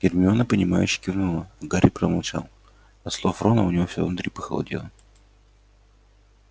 гермиона понимающе кивнула гарри промолчал от слов рона у него всё внутри похолодело